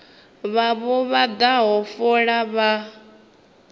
vhavho vha daha fola vha